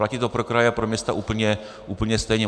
Platí to pro kraje a pro města úplně stejně.